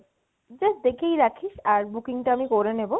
just দেখেই রাখিস আর booking টা আমি করে নিবো